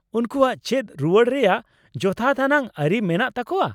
ᱩᱱᱠᱩᱣᱟᱜ ᱪᱮᱫ ᱨᱩᱣᱟᱹᱲ ᱨᱮᱭᱟᱜ ᱡᱚᱛᱷᱟᱛ ᱟᱱᱟᱜ ᱟᱹᱨᱤ ᱢᱮᱱᱟᱜ ᱛᱟᱠᱚᱣᱟ ?